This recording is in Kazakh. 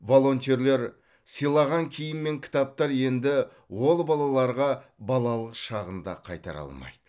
волонтерлер сыйлаған киім мен кітаптар енді ол балаларға балалық шағын да қайтара алмайды